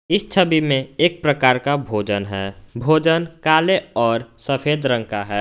इस छवि में एक प्रकार का भोजन है भोजन कले और सफेद रंग का है।